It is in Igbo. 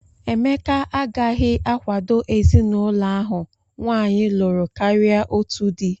Emeka agaghị akwado ezinụlọ ahụ nwaanyị lụrụ karịa otu di